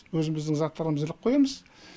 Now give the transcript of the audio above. өзіміздің заттарымызды іліп қоямыз